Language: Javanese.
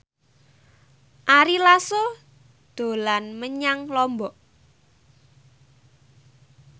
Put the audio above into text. Ari Lasso dolan menyang Lombok